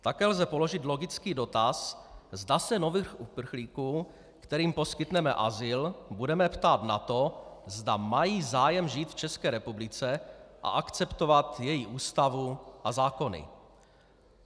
Také lze položit logický dotaz, zda se nových uprchlíků, kterým poskytneme azyl, budeme ptát na to, zda mají zájem žít v České republice a akceptovat její ústavu a zákony.